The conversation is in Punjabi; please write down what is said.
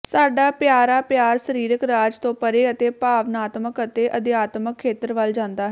ਸਾਡਾ ਪਿਆਰਾ ਪਿਆਰ ਸਰੀਰਕ ਰਾਜ ਤੋਂ ਪਰੇ ਅਤੇ ਭਾਵਾਤਮਕ ਅਤੇ ਅਧਿਆਤਮਿਕ ਖੇਤਰ ਵੱਲ ਜਾਂਦਾ ਹੈ